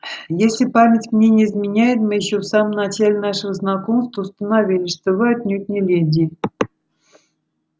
если память мне не изменяет мы ещё в самом начале нашего знакомства установили что вы отнюдь не леди